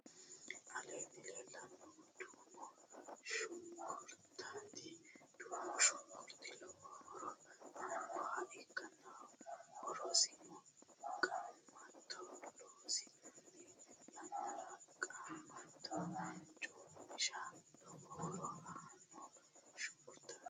aleenni leellannohu duumo shunkurtati. duumu shunkurti lowo horo aannoha ikkanna horosino qaamato loosi'nanni yannara qaamatto coomishate lowo horo aanno shunkurtati.